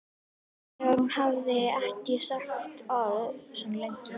Þegar hún hafði ekki sagt orð svona lengi.